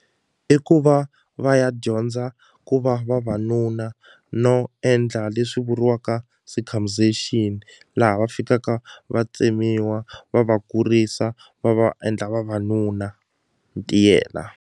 I ku va va ya dyondza ku va vavanuna no endla leswi vuriwaka circumcision laha va fikaka va tsemiwa va va kurisa va va endla vavanuna ntiyela.